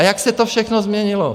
A jak se to všechno změnilo.